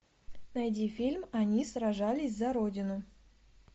найди фильм они сражались за родину